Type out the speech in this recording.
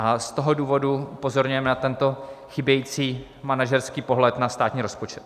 A z toho důvodu upozorňujeme na tento chybějící manažerský pohled na státní rozpočet.